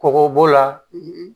Kɔgɔ b'o la